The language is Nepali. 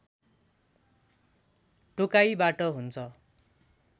टोकाइबाट हुन्छ